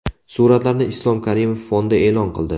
Suratlarni Islom Karimov fondi e’lon qildi .